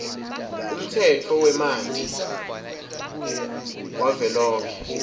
umtsetfo wemanti wavelonkhe